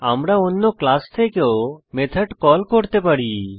আমরা অন্য ক্লাস থেকেও মেথড কল করতে পারি